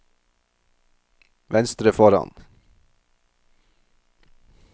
venstre foran